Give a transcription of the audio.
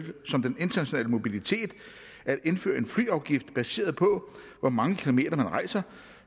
som den internationale mobilitet at indføre en flyafgift baseret på hvor mange kilometer man rejser